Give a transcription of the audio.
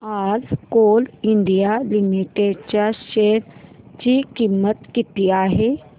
आज coal India limited च्या share ची किंमत किती आहे